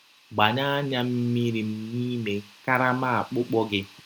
“ Gbanye anya mmiri m n’ime karama akpụkpọ gị.